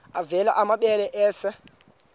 avela amabele esel